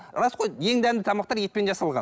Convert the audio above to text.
рас қой ең дәмді тамақтар етпен жасалған